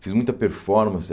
Fiz muita performance.